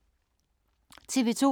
TV 2